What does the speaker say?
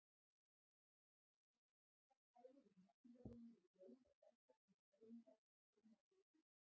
Flutningur meltrar fæðu úr meltingarvegi í blóð og vessa til dreifingar til frumna líkamans.